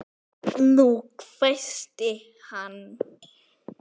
NÚNA! hvæsti hann.